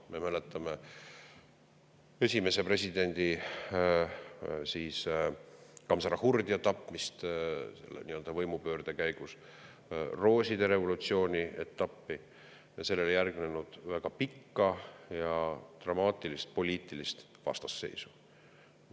Me mäletame esimese presidendi Gamzahhurdia tapmist nii-öelda võimupöörde käigus, rooside revolutsiooni etappi ja sellele järgnenud väga pikka ja dramaatilist poliitilist vastasseisu.